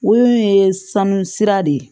Wo in ye sanu sira de ye